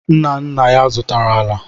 Nna nna ya zụtara ala.